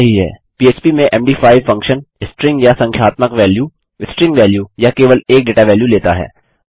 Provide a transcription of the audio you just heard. पह्प में मद5 फंक्शन स्ट्रिंग या संख्यात्मक वैल्यू स्ट्रिंग वैल्यू या केवल एक डेटा वैल्यू लेता है